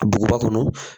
Duguba kɔnɔ